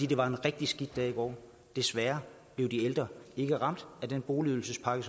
det var en rigtig skidt dag i går desværre blev de ældre ikke ramt af den boligydelsespakke